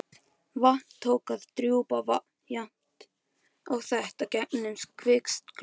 Vatn tók að drjúpa jafnt og þétt gegnum kvistgluggann.